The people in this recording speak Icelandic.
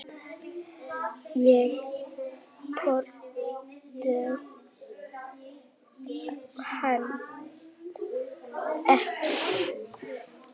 Ég þoldi hann ekki.